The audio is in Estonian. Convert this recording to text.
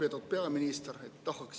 Lugupeetud peaminister!